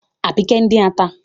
Àbíkẹ́ ń dín ata.